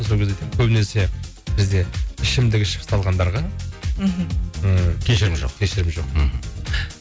сол кезде айтамын көбінесе бізде ішімдік ішіп салғандарға мхм ы кешірім жоқ кешірім жоқ мхм